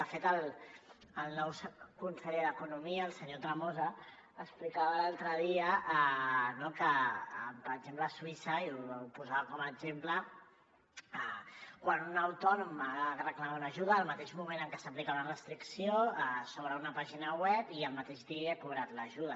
de fet el nou conseller d’economia el senyor tremosa explicava l’altre dia que per exemple a suïssa i ho posava com a exemple quan un autònom ha de reclamar una ajuda en el mateix moment en què s’aplica una restricció s’obre una pàgina web i al mateix dia ja ha cobrat l’ajuda